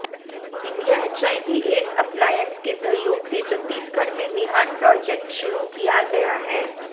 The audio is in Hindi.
इंडिया एचआईवी एड्स एप्लायंस के सहयोग से छत्तीगढ़ में विहान प्रोजेक्ट शुरू किया गया है